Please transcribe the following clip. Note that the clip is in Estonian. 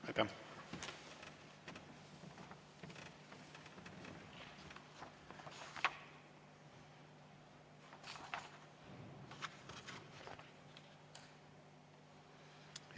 Aitäh!